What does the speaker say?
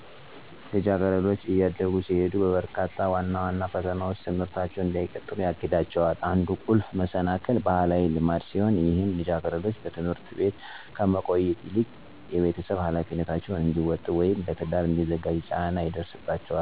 ልጃገረዶች እያደጉ ሲሄዱ በርካታ ዋና ዋና ፈተናዎች ትምህርታቸውን እንዳይቀጥሉ ያግዳቸዋል። አንዱ ቁልፍ መሰናክል ባህላዊ ልማድ ሲሆን ይህም ልጃገረዶች በትምህርት ቤት ከመቆየት ይልቅ የቤተሰብ ኃላፊነታቸውን እንዲወጡ ወይም ለትዳር እንዲዘጋጁ ጫና ይደርስባቸዋል። እነዚህም ነገሮች ትምህርታቸውን እንዲያቋርጡ ያስገድዷቸዋል። ባህላዊ ልማዶች ከትምህርት ይልቅ የቤት ውስጥ ሚናዎችን ያስቀድማሉ፣ ልጃገረዶች ቤተሰብን እንዲያስተዳድሩ ወይም ታናናሻቸውን እንዲንከባከቡ ያስገዳቸዋል። እንደዚህ አይነት ነገሮች ከሃብት፣ ከደህንነት ስጋት፣ ወይም ከድጋፍ እጦት ጋር ተዳምረው ብዙ ልጃገረዶች ትምህርታቸውን እንዳይጨርሱ መሰናክል ይሆንባቸዋል።